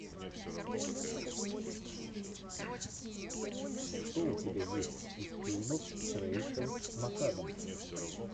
что у тебя есть из фильмов с рэйчел макадамс